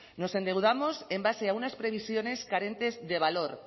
nos endeudados en base a unas previsiones carentes de valor